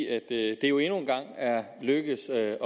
er jo endnu en gang lykkedes at